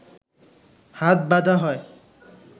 হাত বাঁধা হয়